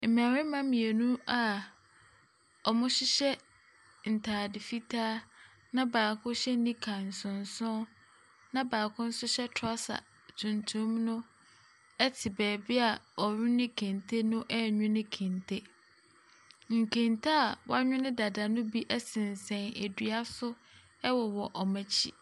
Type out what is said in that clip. Mmarima mmienu a wɔhyehyɛ ntade fitaa na baako hyɛ nika nsonson, na baako nso hyɛ trouser tuntum no te baabi a wɔnwene kente no renwne kente. Nkente a wɔanwne dada no bi sensɛn dua so wɔ wowɔ wɔn akyi.